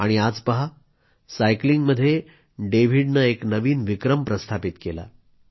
आणि आज पहा सायकलिंगमध्ये डेव्हिडनं एक नवीन विक्रम प्रस्थापित केला